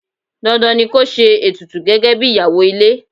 Dandan ni ko ṣe ètùtù gẹ́gẹ́bí ìyàwó ilé.